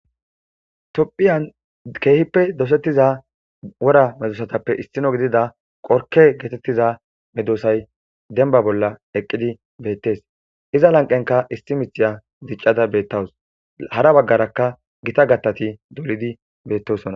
topphiyan keehippe dosettiza wora medosatappe issino gidida qorke getettiza medosay denba bolla eqqidi beettes iza lanqenka issi mixiya diccada beettawus hara baggarakka gita gattati dolidi bettosona